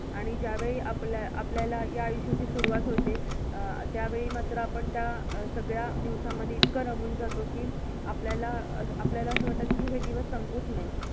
आणि ज्यावेळी आपल्या~आपल्याला या आयुष्याची सुरुवात होते अं त्यावेळी मात्र आपण त्या सगळ्या दिवसांमध्ये इतक रमून जातो की, आपल्याला अं आपल्याला अस वाटत की हे दिवस संपूच नये.